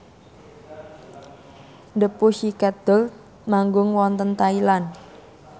The Pussycat Dolls manggung wonten Thailand